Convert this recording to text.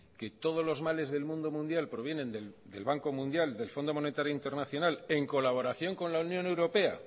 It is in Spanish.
que todos los males del mundo mundial provienen del banco mundial del fondo monetario internacional en colaboración con la unión europea